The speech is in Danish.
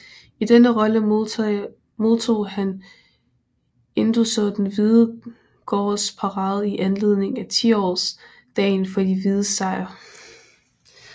I denne rolle modtog han endogså Den hvide Gardes parade i anledning af 10 års dagen for de hvides sejr